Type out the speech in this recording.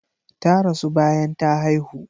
Ta rasu bayan ta haihu.